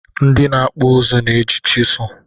Ndị na-akpụ ihe na-eji chịsụ